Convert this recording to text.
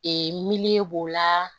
Ee miliyɔn b'o la